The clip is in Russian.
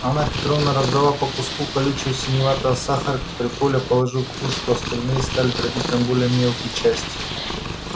анна петровна раздала по куску колючего синеватого сахара который коля положил в кружку а остальные стали дробить на более мелкие части